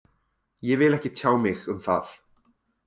Ég vil ekki tjá mig um það.